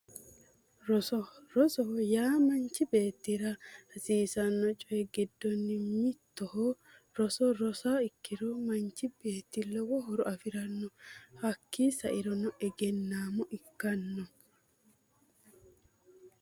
Roso rosoho yaa manchi beettira hasiisanno coyi giddonni mittoho roso rosiha ikkiro manchi beetti lowo horo afiranno hakkii sairono egennaamo ikkanno